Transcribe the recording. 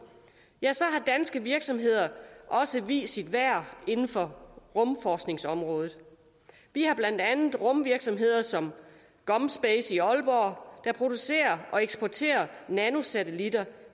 danske virksomheder har også vist deres værd inden for rumforskningsområdet vi har blandt andet rumvirksomheder som gomspace i aalborg der producerer og eksporterer nanosatelitter